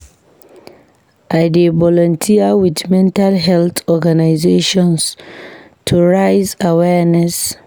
I dey volunteer with mental health organizations to raise awareness.